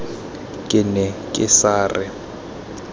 ke ne ke sa re